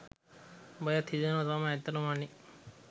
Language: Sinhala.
බයත් හිතෙනවා තමා ඇත්තටම අනේ